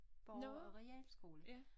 Borger og realskole